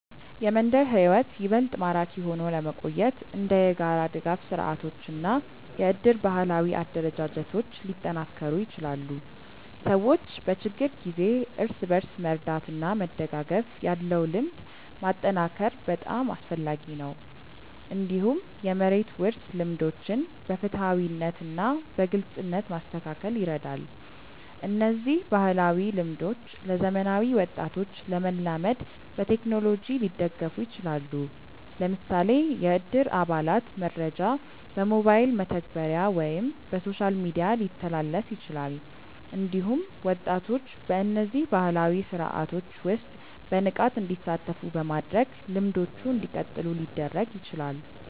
የመንደር ሕይወት ይበልጥ ማራኪ ሆኖ ለመቆየት እንደ የጋራ ድጋፍ ስርዓቶች እና የእድር ባህላዊ አደረጃጀቶች ሊጠናከሩ ይችላሉ። ሰዎች በችግር ጊዜ እርስ በርስ መርዳት እና መደጋገፍ ያለው ልምድ ማጠናከር በጣም አስፈላጊ ነው። እንዲሁም የመሬት ውርስ ልምዶችን በፍትሃዊነት እና በግልጽነት ማስተካከል ይረዳል። እነዚህ ባህላዊ ልምዶች ለዘመናዊ ወጣቶች ለመላመድ በቴክኖሎጂ ሊደገፉ ይችላሉ። ለምሳሌ የእድር አባላት መረጃ በሞባይል መተግበሪያ ወይም በሶሻል ሚዲያ ሊተላለፍ ይችላል። እንዲሁም ወጣቶች በእነዚህ ባህላዊ ስርዓቶች ውስጥ በንቃት እንዲሳተፉ በማድረግ ልምዶቹ እንዲቀጥሉ ሊደረግ ይችላል።